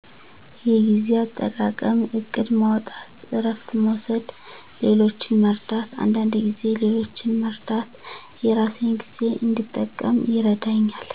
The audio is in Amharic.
የጊዜ አጠቃቀም እቅድ ማውጣት እረፍት መውሰድ ሌሎችን መርዳት አንዳንድ ጊዜ ሌሎችን መርዳት የራሴን ጊዜ እንድጠቀም ይረዳኛል።